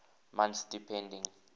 months depending